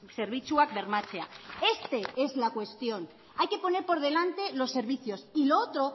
zerbitzuak bermatzea este es la cuestión hay que poner por delante los servicios y lo otro